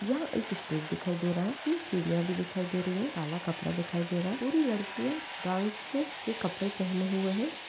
यह एक स्टेज दिखाई दे रहा है कि सीढ़ियां भी दिखाई दे रही हैं काला कपड़ा दिखाई दे रहा है पूरी लड़कियाँ डांस के कपड़े पेहने हुए हैं।